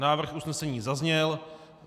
Návrh usnesení zazněl.